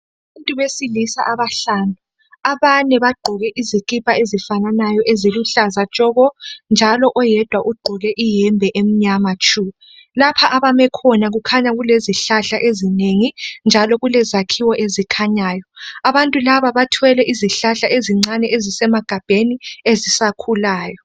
Abantu besilisa abahlanu. Abane bagqoke izikipa ezifananayo eziluhlaza tshoko njalo oyedwa ugqoke iyembe emnyama tshu. Lapha abame khona kukhanya kulezihlahla ezinengi njalo kulezakhiwo ezikhanyayo. Abantu laba bathwele izihlahla ezincane ezisemagabheni ezisakhulayo.